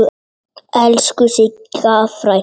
Elsku Sigga frænka.